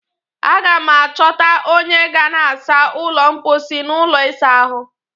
Aga m achọta onye ga na-asa ụlọ mkposhi na ụlọ ịsa ahụ